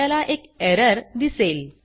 आपल्याला एक एरर दिसेल